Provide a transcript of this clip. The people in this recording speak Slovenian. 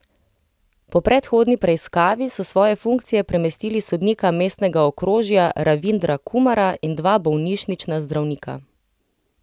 Po predhodni preiskavi so s svoje funkcije premestili sodnika mestnega okrožja Ravindra Kumara in dva bolnišnična zdravnika.